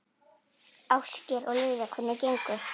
Ásgeir: Og Lilja, hvernig gengur?